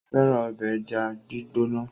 Ó fẹ́ràn ọbẹ̀ ẹja gbígbóná.